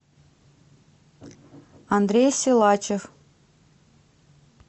андрей силачев